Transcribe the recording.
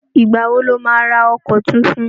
Ìgbà wo lo má ra ọkọ̀ tuntun?